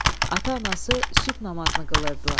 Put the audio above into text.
Ata-anası sübh namazını qılırdılar.